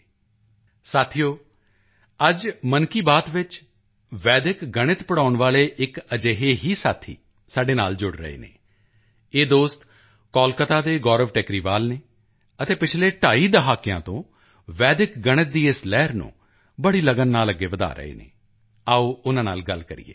ਦੋਸਤੋ ਅੱਜ ਮਨ ਕੀ ਬਾਤ ਵਿੱਚ ਵੈਦਿਕ ਗਣਿਤ ਪੜ੍ਹਾਉਣ ਵਾਲਾ ਇੱਕ ਅਜਿਹਾ ਹੀ ਸਾਥੀ ਵੀ ਸਾਡੇ ਨਾਲ ਜੁੜ ਰਿਹਾ ਹੈ ਇਹ ਦੋਸਤੋ ਕੋਲਕਾਤਾ ਦੇ ਗੌਰਵ ਟੇਕਰੀਵਾਲ ਹਨ ਅਤੇ ਪਿਛਲੇ ਢਾਈ ਦਹਾਕਿਆਂ ਤੋਂ ਵੈਦਿਕ ਗਣਿਤ ਦੀ ਇਸ ਲਹਿਰ ਨੂੰ ਬੜੀ ਲਗਨ ਨਾਲ ਅੱਗੇ ਵਧਾ ਰਹੇ ਹਨ ਆਓ ਉਨ੍ਹਾਂ ਨਾਲ ਗੱਲ ਕਰੀਏ